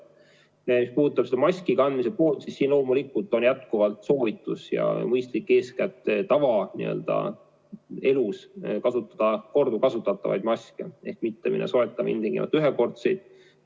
Mis puudutab maski kandmise kohustust, siis loomulikult on jätkuvalt soovitus ja mõistlik eeskätt tavaelus kasutada korduvkasutatavaid maske ehk siis mitte soetada ilmtingimata ühekordseid makse.